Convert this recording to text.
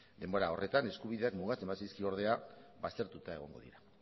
denbora horretan eskubideak mugatzen bazaizkio ordea baztertuta egongo dira